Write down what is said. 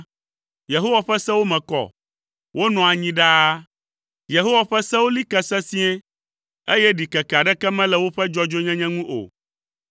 Yehowa ƒe sewo me kɔ; wonɔa anyi ɖaa. Yehowa ƒe sewo li ke sesĩe, eye ɖikeke aɖeke mele woƒe dzɔdzɔenyenye ŋu o.